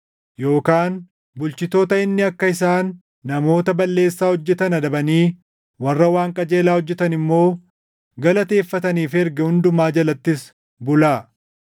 yookaan bulchitoota inni akka isaan namoota balleessaa hojjetan adabanii warra waan qajeelaa hojjetan immoo galateeffataniif erge hundumaa jalattis bulaa.